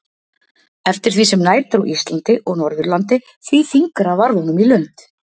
Eftir því sem nær dró Íslandi og Norðurlandi, því þyngra varð honum í lund.